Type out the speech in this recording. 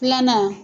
Filanan